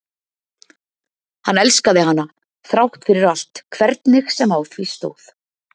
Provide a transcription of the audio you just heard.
hann elskaði hana þrátt fyrir allt hvernig sem á því stóð.